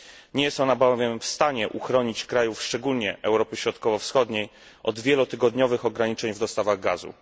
Nie jest ona bowiem w stanie uchronić krajów, szczególnie krajów Europy Środkowo Wschodniej, od wielotygodniowych ograniczeń w dostawach gazu.